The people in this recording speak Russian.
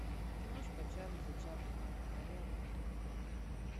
киношка чарльза чаплина малена